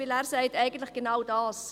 Denn er sagt eigentlich genau das: